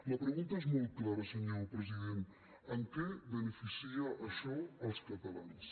la pregunta és molt clara senyor president en què beneficia això els catalans